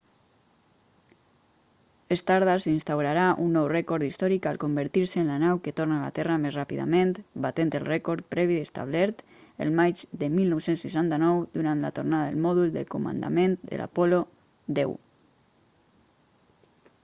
stardust instaurarà un nou rècord històric al convertir-se en la nau que torna a la terra més ràpidament batent el rècord previ establert el maig de 1969 durant la tornada del mòdul de comandament de l'apol·lo x